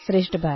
2